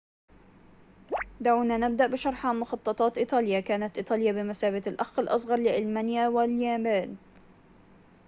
دعونا نبدأ بشرح عن مخططات إيطاليا كانت إيطاليا بمثابة الأخ الأصغر لألمانيا واليابان